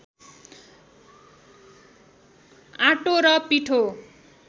auto र पिठो